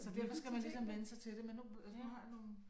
Så derfor skal man ligesom vænne sig til det men nu altså nu har jeg nogle